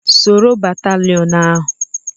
Soro batalịon ahụ!